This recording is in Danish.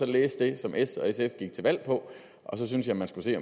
læse det som s og sf gik til valg på og så synes jeg man skulle se